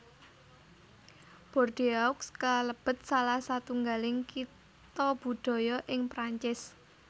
Bordeaux kalebet salah satunggaling Kitha Budaya ing Prancis